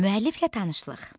Müəlliflə tanışlıq.